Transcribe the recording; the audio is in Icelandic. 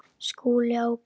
SKÚLI: Á hverju?